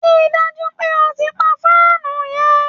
Rí i dájú pé o ti pa fáànù yẹ!